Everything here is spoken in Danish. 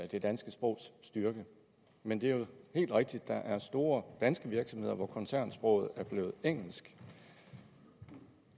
det danske sprogs styrke men det er jo helt rigtigt at der er store danske virksomheder hvor koncernsproget er blevet engelsk